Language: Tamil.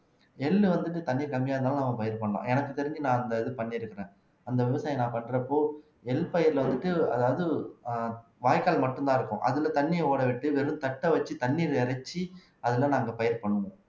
எள்ளு வந்துட்டு தண்ணி கம்மியா இருந்தாலும் நம்ம இது பண்ணலாம் எனக்கு தெரிஞ்சு நான் அந்த இது பண்ணி இருக்கிறேன் அந்த விவசாயம் நான் பண்றப்போ எள் பயிர்ல வந்துட்டு அதாவது அஹ் வாய்க்கால் மட்டும்தான் இருக்கும் அதுல தண்ணியை ஓட விட்டு வெறும் தட்டை வச்சு தண்ணீர் இறைச்சு அதுல நாங்க பயிர் பண்ணுவோம்